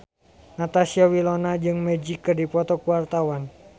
Natasha Wilona jeung Magic keur dipoto ku wartawan